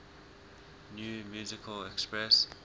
new musical express